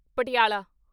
Patiala